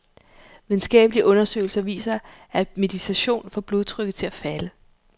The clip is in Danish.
Videnskabelige undersøgelser viser, at meditation får blodtrykket til at falde.